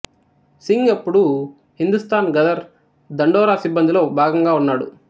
సింగ్ అప్పుడు హిందుస్థాన్ గదర్ దండోరా సిబ్బందిలో భాగంగా ఉన్నాడు